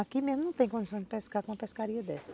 Aqui mesmo não tem condição de pescar com uma pescaria dessa.